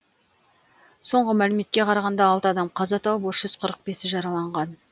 соңғы мәліметке қарағанда алты адам қаза тауып үш жүз қырық бесі жараланған